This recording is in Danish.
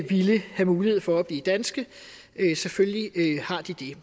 ville have mulighed for at blive danske selvfølgelig har de